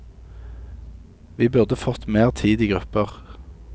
Vi burde fått mer tid i grupper.